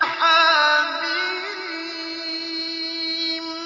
حم